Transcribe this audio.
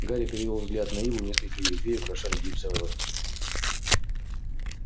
гарри перевёл взгляд на иву несколько её ветвей украшали гипсовые лотки